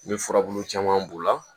N bɛ furabulu caman b'o la